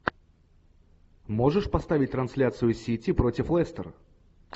можешь поставить трансляцию сити против лестер